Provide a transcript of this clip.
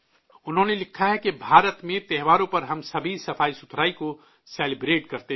انہوں نے لکھا ہے کہ ''بھارت میں تہواروں پر ہم سبھی صفائی کا جشن مناتے ہیں